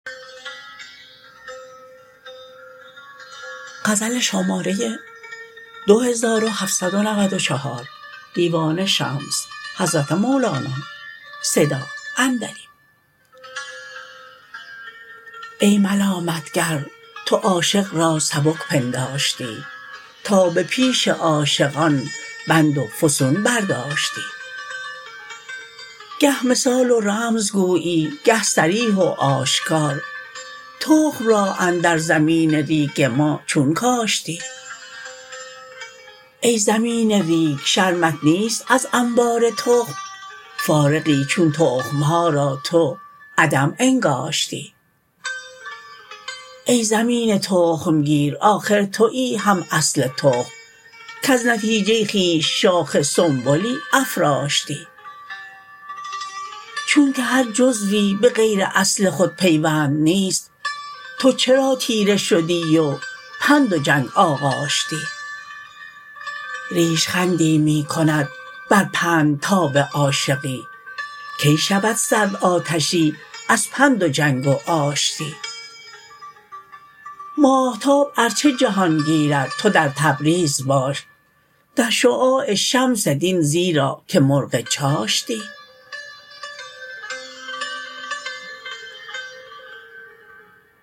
ای ملامت گر تو عاشق را سبک پنداشتی تا به پیش عاشقان بند و فسون برداشتی گه مثال و رمز گویی گه صریح و آشکار تخم را اندر زمین ریگ ما چون کاشتی ای زمین ریگ شرمت نیست از انبار تخم فارغی چون تخم ها را تو عدم انگاشتی ای زمین تخم گیر آخر توی هم اصل تخم کز نتیجه خویش شاخ سنبلی افراشتی چونک هر جزوی به غیر اصل خود پیوند نیست تو چرا طیره شدی و پند و جنگ آغاشتی ریش خندی می کند بر پند تاب عاشقی کی شود سرد آتشی از پند و جنگ و آشتی ماهتاب ار چه جهان گیرد تو در تبریز باش در شعاع شمس دین زیرا که مرغ چاشتی